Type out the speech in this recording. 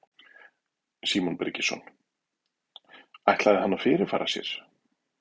Símon Birgisson: Ætlaði hann að fyrirfara sér?